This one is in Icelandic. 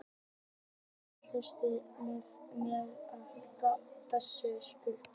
Með ómennsku átaki tekst mér að halda puttunum frá þessu litríka silkipúðri